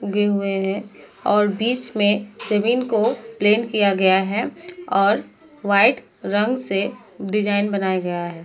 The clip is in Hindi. उगे हुए हैं और बीच में जमीन को प्लेन किया गया है और वाइट रंग से डिज़ाइन बनाया गया है।